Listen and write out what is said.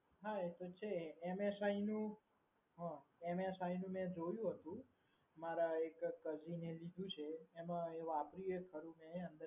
હા એ તો છે MSI નું અમ MSI નું મે જોયું હતું. મારા એક cousin એ લીધું છે. એમા એ વાપરી એ ખરું ને